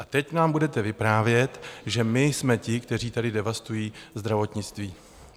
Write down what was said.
A teď nám budete vyprávět, že my jsme ti, kteří tady devastují zdravotnictví.